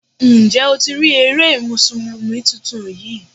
Ǹjẹ́ o ti rí eré Mùsùlùmí tuntun yí?